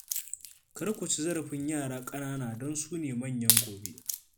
Kar ku ci zarafin yara ƙanana don su ne manyan gobe